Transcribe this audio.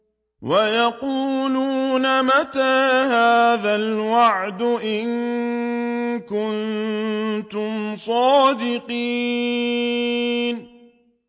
وَيَقُولُونَ مَتَىٰ هَٰذَا الْوَعْدُ إِن كُنتُمْ صَادِقِينَ